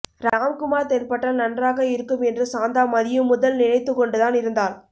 ராம்குமார் தென்பட்டால் நன்றாக இருக்கும் என்று சாந்தா மதியம் முதல் நினைத்துக் கொண்டுதான் இருந்தாள்